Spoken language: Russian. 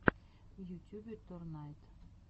в ютюбе торнайд